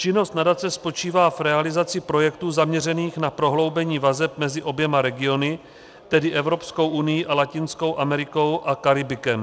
Činnost nadace spočívá v realizaci projektů zaměřených na prohloubení vazeb mezi oběma regiony, tedy Evropskou unií a Latinskou Amerikou a Karibikem.